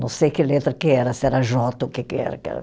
Não sei que letra que era, se era jota ou o que que era, que era.